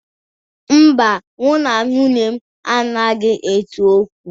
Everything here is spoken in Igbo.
Mba, mụ na nwunye m anaghị ese okwu.